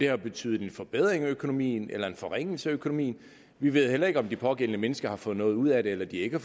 har betydet en forbedring af økonomien eller en forringelse af økonomien vi ved heller ikke om de pågældende mennesker har fået noget ud af det eller de ikke